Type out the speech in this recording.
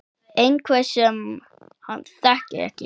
Einhver sem hann þekkir ekki.